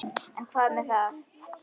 En hvað með það?